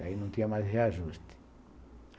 Daí não tinha mais reajuste.